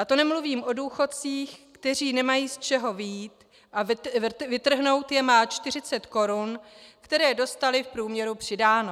A to nemluvím o důchodcích, kteří nemají z čeho vyjít, a vytrhnout je má 40 korun, které dostali v průměru přidáno.